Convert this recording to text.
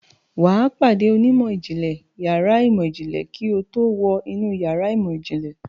Wà á pàdé onímọ̀ ìjìnlẹ̀ yàrá ìmọ̀ ìjìnlẹ̀ kí o tó wọ inú yàrá ìmọ̀-ìjìnlẹ̀.